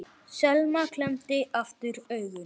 Selma klemmdi aftur augun.